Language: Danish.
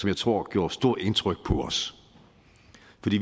jeg tror gjorde stort indtryk på os